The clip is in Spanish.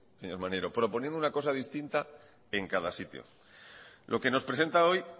señor maneiro proponiendo una cosa distinta en cada sitio lo que nos presenta hoy